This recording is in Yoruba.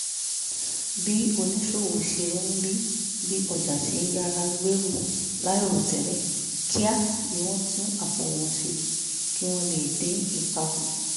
bí oníṣòwò ṣe rí bí ọjà ṣe ń yára gbèrú láìròtẹ́lẹ̀ kíá ni wọ́n tún àpò wọn ṣe kí wọ́n lè dín ipa kù